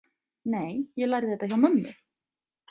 Nei, ég lærði þetta hjá mömmu.